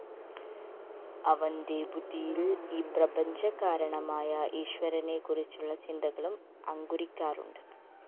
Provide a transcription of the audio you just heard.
അവന്റെ ബുദ്ധിയില്‍ ഈ പ്രപഞ്ചകാരണമായ ഈശ്വരനെക്കുറിച്ചുള്ള ചിന്തകളും അങ്കുരിക്കാറുണ്ട്